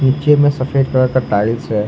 नीचे में सफेद कलर का टाइल्स है।